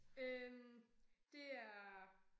Øh det er